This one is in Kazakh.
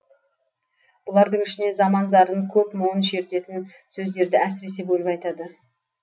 бұлардың ішінен заман зарын көп мұңын шертетін сөздерді әсіресе бөліп айтады